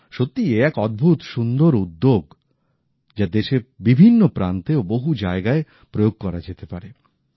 সত্যিই এ এক অদ্ভুত সুন্দর উদ্যোগ যা দেশের বিভিন্ন প্রান্তে ও বহু জায়গায় প্রয়োগ করা যেতে পারে